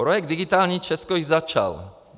Projekt digitální Česko již začal.